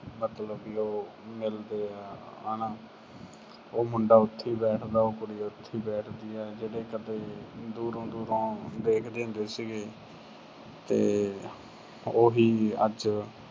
ਮਤਲਬ ਉਹ ਮਿਲਦੇ ਆ ਹਨਾ ਅਹ ਉਹ ਮੁੰਡਾ ਉਥੇ ਈ ਬੈਠਦਾ, ਉਹ ਕੁੜੀ ਉਥੇ ਹੀ ਬੈਠਦੀ ਆ ਜਿਹੜੇ ਕਦੇ ਦੂਰੋਂ ਦੂਰੋਂ ਦੇਖਦੇ ਹੁੰਦੇ ਸੀਗੇ, ਤੇ ਉਹੀ ਅੱਜ